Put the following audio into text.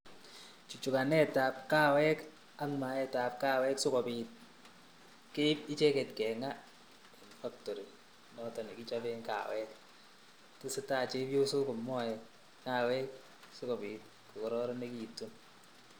Chuchukanetab kawek ak maetab kawek sikobit keib icheket keng'aa en factory noton nekichoben kawek, tesetaa chebiosok komoe kawek sikobit ko kororonekitu.